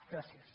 gràcies